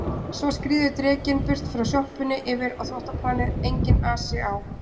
Svo skríður drekinn burt frá sjoppunni yfir á þvottaplanið, enginn asi á